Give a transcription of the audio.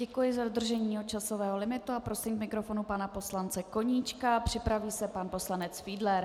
Děkuji za dodržení časového limitu a prosím k mikrofonu pana poslance Koníčka, připraví se pan poslanec Fiedler.